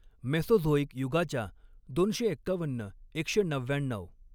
Mesozoic युगाच्या दोनशे एक्कावन्न एकशे नव्याण्णऊ.